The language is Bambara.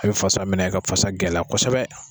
A bɛ fasa minɛ ka fasa gɛlɛya kosɛbɛ.